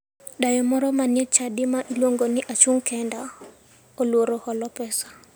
Dayo moro manie e chadi ma iluongo ni ''achung' kenda'' oluor holo pesa.